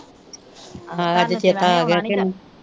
ਆਹੋ ਅੱਜ ਚੇਤਾ ਆਗਿਆ ਤੈਨੂੰ